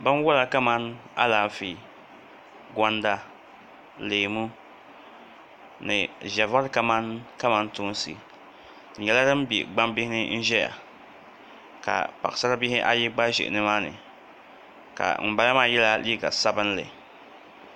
Binwola kamani Alaafee gonda ni leemu ni ʒɛ vari kamani kamantoosi di nyɛla din bɛ gbambihi ni n ʒɛya ka paɣasari bihi ayi gba ʒɛ nimaani ka ŋunbala maa yɛla liiga sabinli